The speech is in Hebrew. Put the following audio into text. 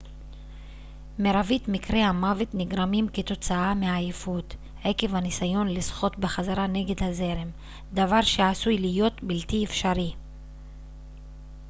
מרבית מקרי המוות נגרמים כתוצאה מעייפות עקב הניסיון לשחות בחזרה נגד הזרם דבר שעשוי להיות בלתי אפשרי